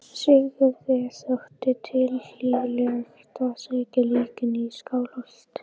Sigurði þótti tilhlýðilegt að sækja líkin í Skálholt.